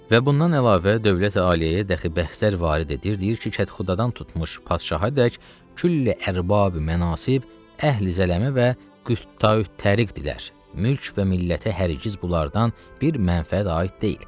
Və bundan əlavə dövlət-aliyyəyə dəxi bəhslər varid edir, deyir ki, kətxudədan tutmuş Padişahadək külli-ərbabi-mənasib, əhli-zəlamə və quttaü-təriqdirlər, mülk və millətə hərgiz bunlardan bir mənfəət aid deyil.